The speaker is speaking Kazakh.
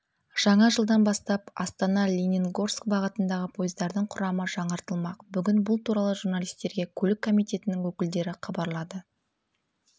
жаңа жылдан бастап астана-лениногорск бағытындағы пойыздардың құрамдары жаңартылмақ бүгін бұл туралы журналистерге көлік комитетінің өкілдері хабарлады